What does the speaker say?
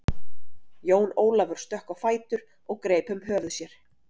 Jón Ólafur stökk á fætur og greip um höfuð sér.